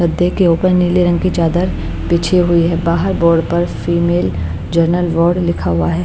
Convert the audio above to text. गद्दे के ऊपर नीले रंग की चादर पिछी हुई है बाहर बोर्ड पर फीमेल जर्नल वार्ड लिखा हुआ है।